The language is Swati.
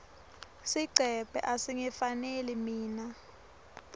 sigcebhe asingifaneli mine